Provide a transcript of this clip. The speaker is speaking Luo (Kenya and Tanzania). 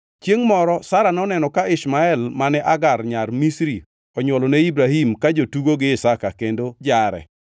Chiengʼ moro Sara noneno ka Ishmael mane Hagar nyar Misri onywolo ne Ibrahim ka jotugo gi Isaka kendo jare.